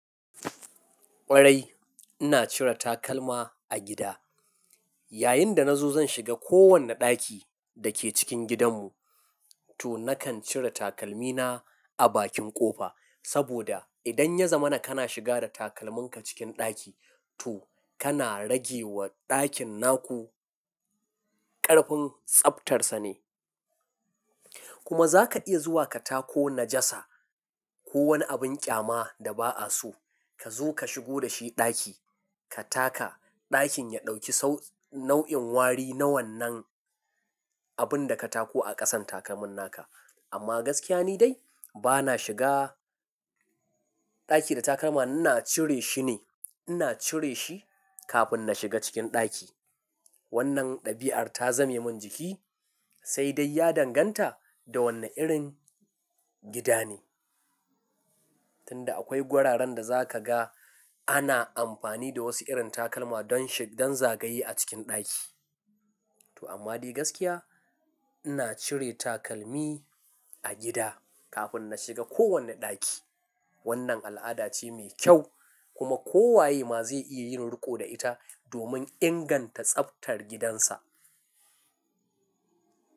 Ƙwarai ina cire takalma a gida. Yayinda na zo zan shiga kowane ɗaki dake cikin gidanmu to nakan cire takalmina a bakin ƙofa. Saboda idan ya zama kana shiga da takalminka cikin ɗaki, to kana rage wa ɗakin naku ƙarfin tsaftarsa ne. Kuma za ka iya zuwa ka tako najasa ko wani abin ƙyama da ba'a so. Ka zo ka shigo da shi ɗaki ka taka, ɗakin ya ɗauki sau-- nau'in wari na wannan abunda ka tako a ƙasan takalmin naka. Amma gaskiya ni dai bana shiga ɗaki da takalma. Ina cire shi ne, ina cire shi kafin na shiga cikin ɗaki. Wannan ɗabi'ar ta zame mun jiki, sai dai ya danganta da wane irin gida ne. Tunda akwai gwararan da za ka ga ana amfani da wasu irin takalma don shag-- don zagaye a cikin ɗaki. To amma dai gaskiya ina cire takalmi a gida kafin na shiga kowane ɗaki. Wannan al'ada ce mai kyau kuma kowaye ma zai iya yin riƙo da ita domin inganta tsaftar gidansa.